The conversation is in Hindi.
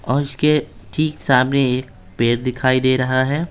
और इसके ठीक सामने एक पेड़ दिखाई दे रहा है।